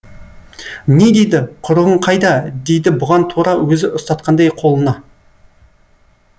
не дейді құрығың қайда дейді бұған тура өзі ұстатқандай қолына